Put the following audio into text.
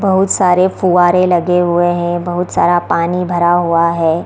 बहुत सारे फुवारें लगे हुए हैं बहुत सारा पानी भरा हुआ हे।